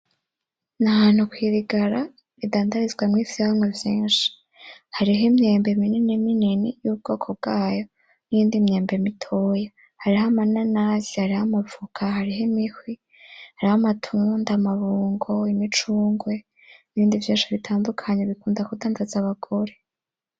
Ni ahantu kwi rigara ridandarizwamwo ivyamwa vyinshi. Hariho imyembe minini minini y'ubwoko bwayo n'iyindi myembe mitoya. Hariho ama nanasi, hariho amavoka, hariho imihwi, hariho amatunda, amabungo, imicungwe, nibindi vyinshi bitandukanye bikunda kudandaza abagore.